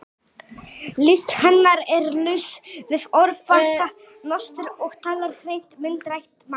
List hennar er laus við óþarfa nostur og talar hreint myndrænt mál.